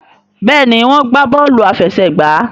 Béèni wón gbà Bọ́ọ̀lù àfẹsẹ̀gbá.